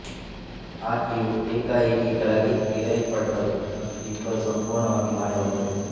ಆಕೆಯು ಏಕಾಏಕಿ ಕೆಳಗೆ ಎಳೆಯಲ್ಪಟ್ಟರು ಮತ್ತು ಇಬ್ಬರೂ ಸಂಪೂರ್ಣವಾಗಿ ಮಾಯವಾದರು